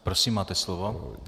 Prosím, máte slovo.